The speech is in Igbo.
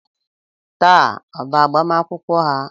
Taa ọ bụ agbamakwụkwọ ha?